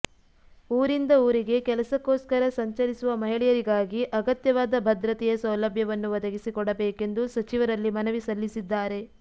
ಊರಿಂದ ಊರಿಗೆ ಕೆಲಸಕ್ಕೋಸ್ಕರ ಸಂಚರಿಸುವ ಮಹಿಳೆಯರಿಗಾಗಿ ಅಗತ್ಯವಾದ ಭದ್ರತೆಯ ಸೌಲಭ್ಯವನ್ನು ಒದಗಿಸಿ ಕೊಡಬೇಕೆಂದು ಸಚಿವರಲ್ಲಿ ಮನವಿ ಸಲ್ಲಿಸಿದ್ದಾರೆ